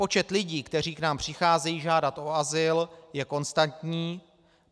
Počet lidí, kteří k nám přicházejí žádat o azyl, je konstantní.